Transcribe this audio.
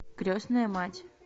крестная мать